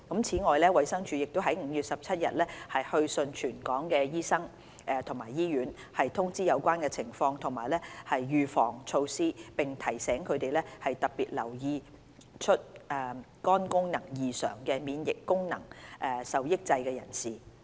此外，衞生署已在5月17日去信全港醫生及醫院，通知有關情況及預防措施，並提醒他們特別留意出現肝功能異常的免疫功能受抑制人士。